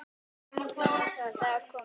Nú er sá dagur kominn.